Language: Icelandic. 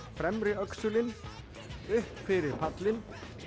fremri öxulinn upp fyrir pallinn